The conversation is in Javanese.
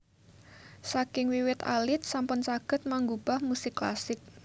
Saking wiwit alit sampun saged manggubah musik klasik